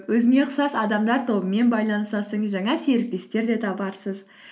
өзіңе ұқсас адамдар тобымен байланысасың жаңа серіктестер де табарсыз